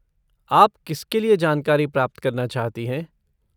आप किसके लिए जानकारी प्राप्त करना चाहती हैं?